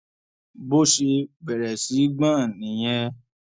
bó ṣe bẹrẹ sí í gbọn nìyẹn